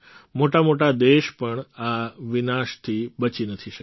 મોટા મોટા દેશ પણ આ વિનાશથી બચી નથી શક્યા